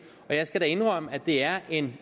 jeg skal da indrømme at det er en